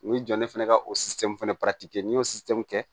U bɛ jɔ ne fana ka o fana n'i y'o kɛ